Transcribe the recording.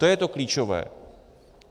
To je to klíčové.